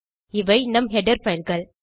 இவை நம் ஹெடர் fileகள்